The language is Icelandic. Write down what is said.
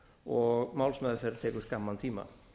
og málsmeðferð tekur skamman tíma